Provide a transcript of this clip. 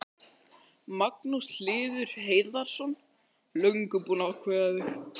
Magnús Hlynur Hreiðarsson: Löngu búinn að ákveða þig?